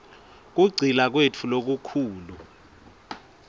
kugcila kwetfu lokukhulu